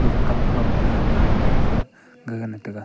gaga kam kha lat ngai mai pha gaga na ngan taiga.